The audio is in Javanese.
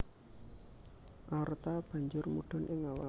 Aorta banjur mudhun ing awak